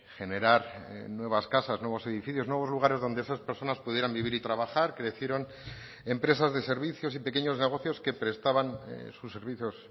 generar nuevas casas nuevos edificios nuevos lugares donde esas personas pudieran vivir y trabajar crecieron empresas de servicios y pequeños negocios que prestaban sus servicios